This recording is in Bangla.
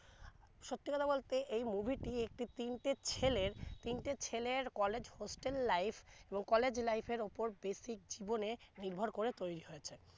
সত্যি কথা বলতে এই movie টি একটি তিন টে ছেলের তিন টে ছেলের college hostel life এবং college life এর উপর basic জীবনে নির্ভর করে তৈরি হয়েছে